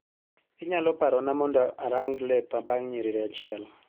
Inyalo parona mondo arang lepa bang' nyiriri achiel.